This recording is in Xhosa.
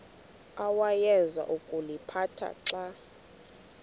awayeza kuliphatha xa